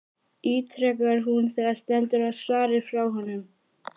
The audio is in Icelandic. ítrekar hún þegar stendur á svari frá honum.